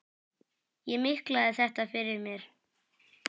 Ég miklaði þetta fyrir mér.